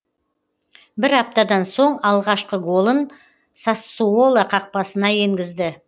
бір аптадан соң алғашқы голын сассуоло қақпасына енгізді